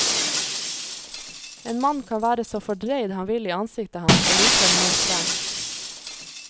En mann kan være så fordreid han vil i ansiktet han, og likevel nå frem.